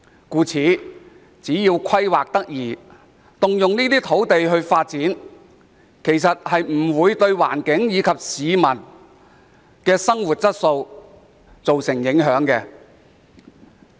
因此，政府只要規劃得宜，動用這些土地作發展不會對環境及市民生活質素造成影響。